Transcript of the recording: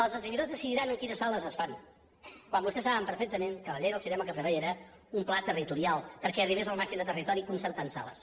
els exhibidors decidiran en quines sales es fan quan vostès saben perfectament que la llei del cinema el que preveia era un pla territorial perquè arribés al màxim de territori concertant sales